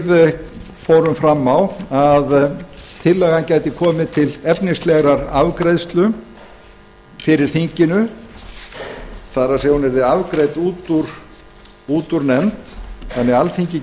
fórum fram á að hún gæti komið til efnislegrar afgreiðslu fyrir þinginu það er að hún yrði afgreidd úr nefnd þannig að alþingi